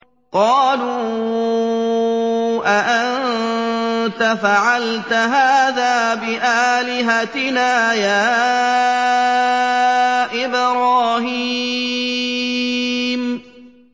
قَالُوا أَأَنتَ فَعَلْتَ هَٰذَا بِآلِهَتِنَا يَا إِبْرَاهِيمُ